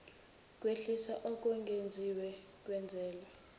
kwehliswa okwengeziwe kwenzelwa